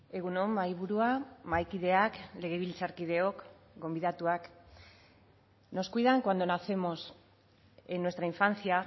egun on mahaiburua mahaikideak legebiltzarkideok gonbidatuak nos cuidan cuando nacemos en nuestra infancia